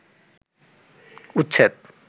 উচ্ছেদ